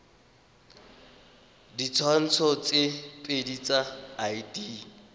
ditshwantsho tse pedi tsa id